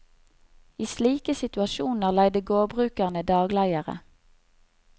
I slike situasjoner leide gårdbrukerne dagleiere.